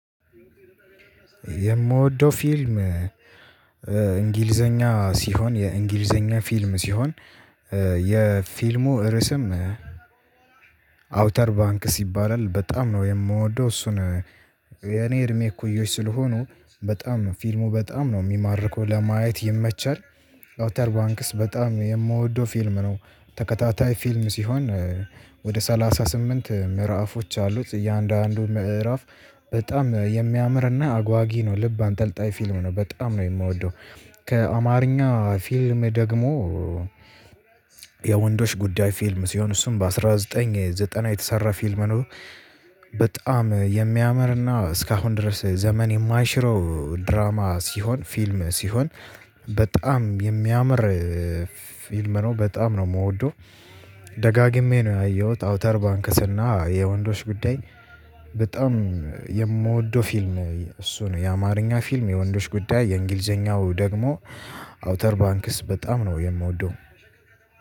የምወደው ፊልም እንግሊዘኛ ሲሆን የእንግሊዘኛ ፊልም ሲሆን የፊልሙ ርዕስም አውተር ባንክስ ይባላል በጣም ነው የምወደው እሱን የኔ እድሜ እኩዮች ስለሆኑ በጣም ነው ፊልሙ በጣም ነው የሚማርከው ለማየት ይመቻል። አውተር ባንክስ በጣም የምወደው ፊልም ነው ተከታታይ ፊልም ሲሆን ወደ ሰላሳ ስምንት ምዕራፎች አሉት እያንዳንዱ ምዕራፍ በጣም የሚያምርና አጓጊ ነው ልብ አንጠልጣይ ፊልም ነው በጣም ነው የምወደው። ከአማርኛ ፊልም ደግሞ የወንዶች ጉዳይ ፊልም ሲሆን እሱን በአንድ ሺህ ዘጠኝ መቶ ዘጠና የተሰራ ፊልም ነው። በጣም የሚያምርና እስካሁን ድረስ ዘመን የማይሽረው ድራማ ሲሆን ፊልም ሲሆን በጣም የሚያምር ፊልም ነው በጣም ነው የምወደው። ደጋግሜ ነው ያየሁት አውተር ባንክስና የወንዶች ጉዳይ በጣም የምወደው ፊልም እሱ ነው። የአማርኛ ፊልም የወንዶች ጉዳይ የእንግሊዘኛው ደግሞ አውተር ባንክስ በጣም ነው የምወደው